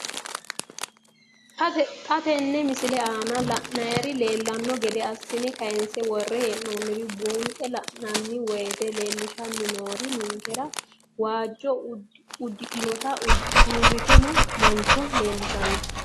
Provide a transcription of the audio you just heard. Xa tenne missile aana la'nara leellanno gede assine kayiinse worre hee'noonniri buunxe la'nanni woyiite leellishshanni noori ninkera waajjo uddidhinota uurritino mancho leellishshanno.